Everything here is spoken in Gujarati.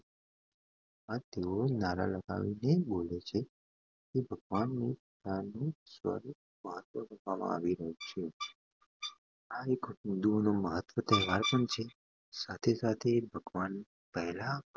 આ તેઓ નારિયેળ પાણી જોવે છે આવી દુઃખ ભજન સહે